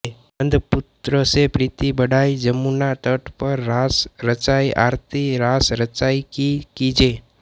नन्द पुत्र से प्रीति बढाई जमुना तट पर रास रचाई आरती रास रचाई की कीजै